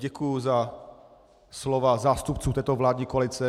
Děkuji za slova zástupců této vládní koalice.